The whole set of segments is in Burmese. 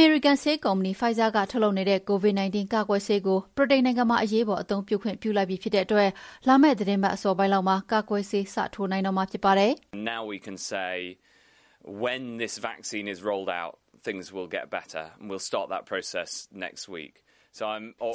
မေရိကန်ဆေးကုမ္ပဏီ Pfizer က ထုတ်လုပ်နေတဲ့ COVID-19 ကာကွယ်ဆေးကို ဗြိတိန်နိုင်ငံမှာ အရေးပေါ် အသုံးပြု၊ ခွင့်ပြုလိုက်ပြီဖြစ်တဲ့အတွက် လာမယ့် သီတင်းပတ်အစောပိုင်းလောက်မှာ ကာကွယ်ဆေး စထိုးနိုင်တော့မှာ ဖြစ်ပါတယ်။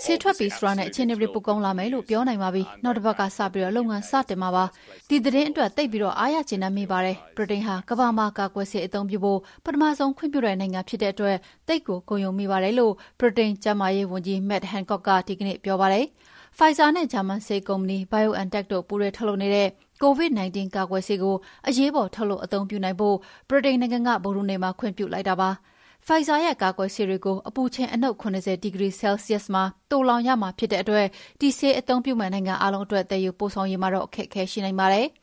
"ဆေးထွက်ပြီဆိုတာနဲ့ အခြေအနေတွေ ပိုကောင်းလာမယ်လို့ ပြောနိုင်ပါပြီ။ နောက်တပတ်ကစပြီး လုပ်ငန်းစတင်မှာပါ။ ဒီသတင်းအတွက် သိပ်ပြီး အားရကျေနပ်မိပါတယ်။ ဗြိတိန်ဟာ ကမ္ဘာမှာ ကာကွယ်ဆေး အသုံးပြုဖို့ ပထမဆုံးခွင့်ပြုတဲ့ နိုင်ငံဖြစ်တဲ့အတွက် သိပ်ကိုဂုဏ်ယူမိပါတယ်။" လို့ ဗြိတိန်ကျန်းမာရေးဝန်ကြီး Matt Hancock က ဒီကနေ့ပြောပါတယ်။ Pfizer နဲ့ ဂျာမန်ဆေးကုမ္ပဏီ BioNTech တို့ ပူးတွဲထုတ်လုပ်နေတဲ့ COVID-19 ကာကွယ်ဆေးကို အရေးပေါ် ထုတ်လုပ်အသုံးပြုနိုင်ဖို့ ဗြိတိန်နိုင်ငံက ဗုဒ္ဓဟူးနေ့မှာ ခွင့်ပြုလိုက်တာဖြစ်ပါတယ်။ Pfizer ရဲ့ ကာကွယ်ဆေးတွေကို အပူချိန် အနုတ် ၇၀ ဒီဂရီ်ဆဲလ်စီယပ်စ်မှာ သိုလှောင်ရမှာဖြစ်တဲ့အတွက် ဒီဆေးအသုံးပြုမယ့်နိုင်ငံအားလုံးအတွက် သယ်ယူပို့ဆောင်ရေးမှာတော့ အခက်အခဲရှိနိုင်ပါတယ်။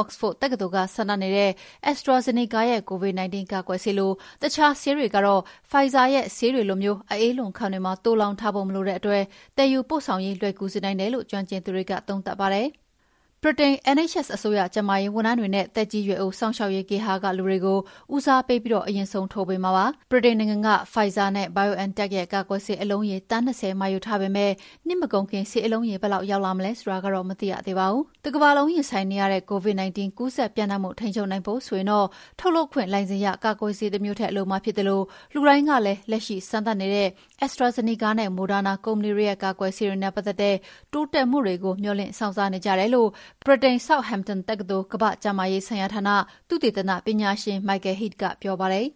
Oxford တက္ကသိုလ်က စမ်းသပ်နေတဲ့ AstraZeneca ရဲ့ COVID-19 ကာကွယ်ဆေးလို အခြားဆေးတွေကတော့ Pfizer ရဲ့ ဆေးတွေလို အအေးလွန်ခန်းတွေမှာ သိုလှောင်ထားဖို့ မလိုတဲ့အတွက် သယ်ယူပို့ဆောင်ရေး လွယ်ကူစေနိုင်တယ်လို့ ကျွမ်းကျင်သူတွေက သုံးသပ်ပါတယ်။ ဗြိတိန် NHS အစိုးရကျန်းမာရေး ဝန်ထမ်းတွေနဲ့ သက်ကြီးရွယ်အိုစောင့်ရှောက်ရေးဂေဟာကလူတွေကို ဦးစားပေးပြီးတော့ အရင်ဆုံး ထိုးပေးမှာပါ။ ဗြိတိန်နိုင်ငံက Pfizer နဲ့ BioNTech ရဲ့ကာကွယ်ဆေး အလုံးရေ သန်း၂၀ မှာ ယူထားပေမဲ့ နှစ်မကုန်ခင်ဆေးလုံးရေ ဘယ်လောက်ရောက်လာမလဲဆိုတာတော့ မသိရပါဘူး။ တကမ္ဘာလုံးရင်ဆိုင်နေရတဲ့ COVID -19 ကူးစက်ပျံ့နှံ့မှု ထိန်းချုပ်နိုင်ဖို့ဆိုရင်တော့ ထုတ်လုပ်ခွင့်လိုင်စင်ရ ကာကွယ်ဆေးတမျိုးထက်လိုမှာဖြစ်သလို လူတိုင်းကလည်း လက်ရှိ စမ်းသပ်နေတဲ့ AstraZeneca နဲ့ Moderna ကုမ္ပဏီတွေရဲ့ ကာကွယ်ဆေးတွေနဲ့ ပတ်သက်တဲ့ တိုးတက်မှုတွေကို မေ ျှာ်လင့်စောင့်စားနေကြတယ်လို့ ဗြိတိန် Southampton တက္ကသိုလ် ကမ္ဘာ့ကျန်းမာရေးဆိုင်ရာဌာန သုတေသနပညာရှင် Michael Head ကပြောပါတယ်